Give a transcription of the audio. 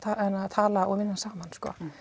tala og vinna saman